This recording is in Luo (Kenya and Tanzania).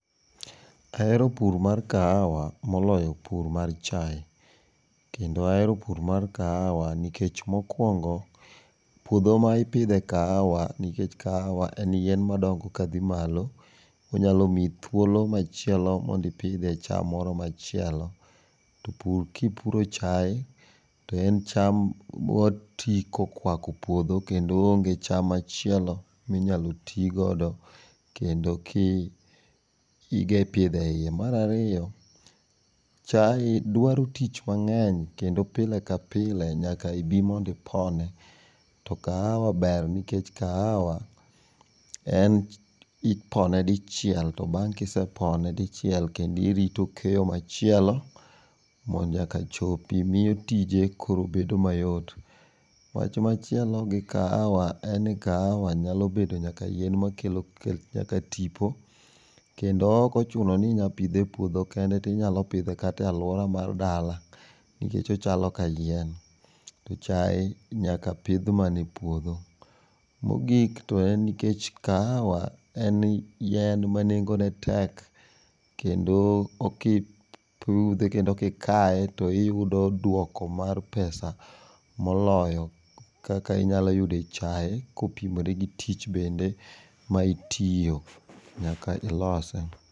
Ahero pur mar kahawa moloyo pur mar chai kendo ahero pur mar kahawa nikech mokuongo puodho mipidhe kahawa nikech kahawa en yien madongo kadhi malo onyalo miyi thuolo machielo mar pidho chiem moro machielo ,to pur kipuro chai toen cham matii kokwako puodho kendo onge cham machielo minyalo tii godo kendo ki kipidhe iye. Mar ariyo chai dwaro tich mangeny kendo pile ka pile nyaka ibi mondo ipone to kahawa ber nikech kahawa en ipone dichiel to bang kisepone dichiel kendo irito keyo machielo mondo eka chopi miyo tije koro bedo mayot. Wach machielo gi kahawa en ni kahawa nyalo bedo nyaka yien makelo tipo kendo ok ochuno ni inya pidhe e puodho kende tinya pidhe nyaka e aluora mar dala nikech ochalo ka yien to chai nyaka pidh mana e puodho. Mogik toen nikech kahawa en yien manengo ne tek kendo kipudhe kendo kikaye tiyudo duoko mar pesa moloyo kaka inyalo yudo e chai kopimore gi tich bende ma itiyo nyaka ilose